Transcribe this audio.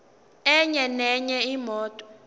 enye nenye imoto